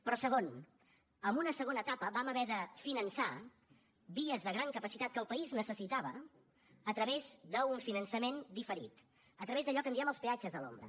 però segon en una segona etapa vam haver de finançar vies de gran capacitat que el país necessitava a través d’un finançament diferit a través d’allò que en diem els peatges a l’ombra